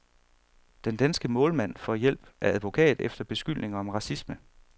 Den danske målmand får hjælp af advokat efter beskyldninger om racisme.